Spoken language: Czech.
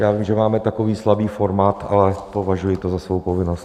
Já vím, že máme takový slabý formát, ale považuji to za svou povinnost.